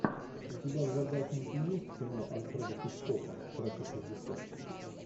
у тебя в загашнике есть кино альфреда хичкока трасса шестьдесят